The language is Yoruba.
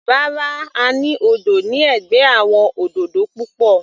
Rárá, a ní odò ní ẹ̀gbẹ́ àwọn òdòdó púpọ̀.